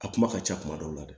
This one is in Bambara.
A kuma ka ca kuma dɔw la dɛ